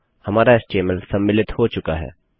हमारा एचटीएमएल सम्मिलित हो चुका है